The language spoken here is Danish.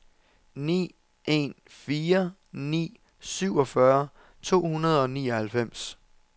ni en fire ni syvogfyrre to hundrede og nioghalvfems